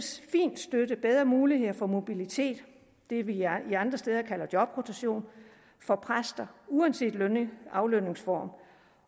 fint støtte bedre muligheder for mobilitet det vi andre steder kalder jobrotation for præster uanset aflønningsform